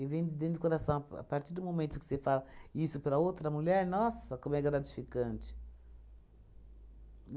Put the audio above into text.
vem dentro do coração, a pa a partir do momento que você fala isso para outra mulher, nossa, como é gratificante.